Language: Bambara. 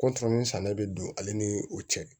kɔntorɔmuso sann'o bɛ don ale ni o cɛ